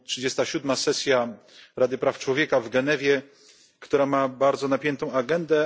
37. sesja Rady Praw Człowieka w Genewie, która ma bardzo napiętą agendę.